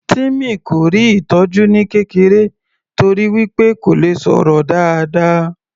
Timmy kò rí ìtọjú ní kékeré torí wí pé kò le sọ̀rọ̀ dáadáa